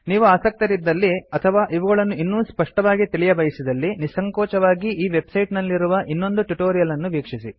ನೀವು ಆಸಕ್ತರಿದ್ದಲ್ಲಿ ಅಥವಾ ಇವುಗಳನ್ನು ಇನ್ನೂ ಸ್ಪಷ್ಟವಾಗಿ ತಿಳಿಯಬಯಸಿದಲ್ಲಿ ನಿಸ್ಸಂಕೋಚವಾಗಿ ಈ ವೆಬ್ಸೈಟ್ ನಲ್ಲಿರುವ ಇನ್ನೊಂದು ಟ್ಯುಟೋರಿಯಲ್ ಅನ್ನು ವೀಕ್ಷಿಸಿ